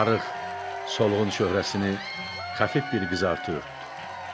Arıq, solğun çöhrəsini xəfif bir qızartı örtdü.